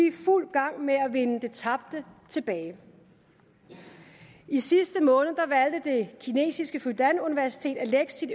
i fuld gang med at vinde det tabte tilbage i sidste måned valgte det kinesiske fudan universitet at lægge sit